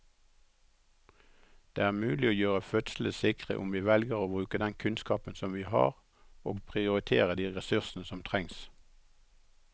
Det er mulig å gjøre fødslene sikre om vi velger å bruke den kunnskapen vi har og prioritere de ressursene som trengs.